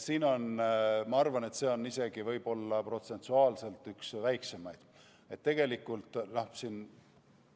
Ma arvan, et see on protsentuaalselt isegi üks väiksemaid tasusid.